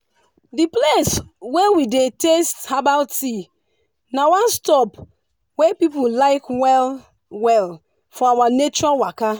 di place wey we dey taste herbal tea na one stop wey people like well-well for our nature waka.